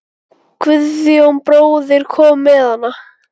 Guðjón bróðir kom með hana.